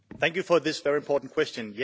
Thank you for this very important question.